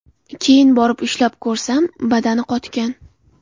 Keyin borib ushlab ko‘rsam, badani qotgan.